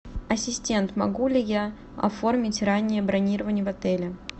ассистент могу ли я оформить раннее бронирование в отеле